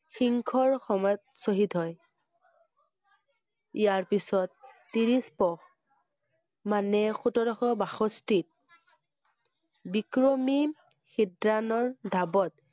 সিংহৰ সময়ত শ্বহীদ হয়। ইয়াৰ পিছত, ত্ৰিশ পুহ মানে সোতৰশ বাষষ্ঠিত বিক্ৰমি শিদ্ৰনৰ দাবত,